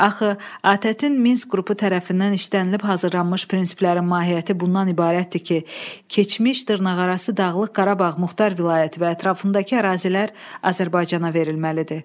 Axı ATƏT-in Minsk qrupu tərəfindən işlənilib hazırlanmış prinsiplərin mahiyyəti bundan ibarətdir ki, keçmiş dırnaqarası Dağlıq Qarabağ Muxtar Vilayəti və ətrafındakı ərazilər Azərbaycana verilməlidir.